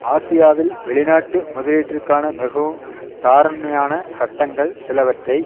ஆசியாவில் வெளி நாட்டு முதலீட்டிற்கான மிகவும் தாராண்மையான சட்டங்கள் சிலவற்றை